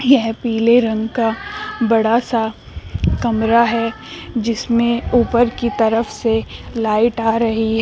यह पीले रंग का बड़ा सा कमरा है जिसमें ऊपर की तरफ से लाइट आ रही है।